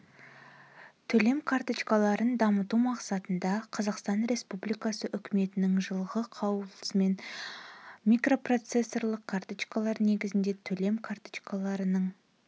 төлем карточкаларын дамыту мақсатында қазақсатан республикасы үкіметінің жылғы қаулысымен микропроцессорлық карточкалар негізінде төлем карточкаларының